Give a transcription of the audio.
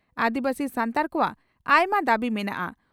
ᱟᱹᱫᱤᱵᱟᱹᱥᱤ ᱥᱟᱱᱛᱟᱲ ᱠᱚᱣᱟᱜ ᱟᱭᱢᱟ ᱫᱟᱹᱵᱤ ᱢᱮᱱᱟᱜᱼᱟ ᱾